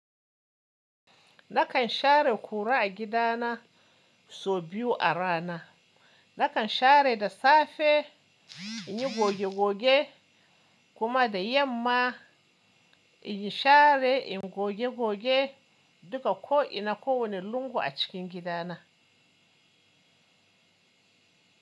Nakan share kura a gidana sau biyu a rana. Nakan share da safe in yi goge goge kuma da yamma in yi share in goge goge duka ko ina ko wanne lungu a cikin gidana.